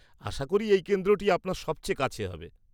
আশা করি এই কেন্দ্রটি আপনার সবচেয়ে কাছে হবে।